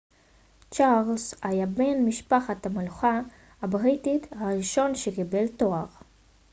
צ'רלס היה בן משפחת המלוכה הבריטית הראשון שקיבל תואר